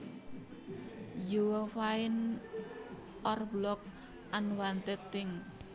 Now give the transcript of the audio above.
you find or block unwanted things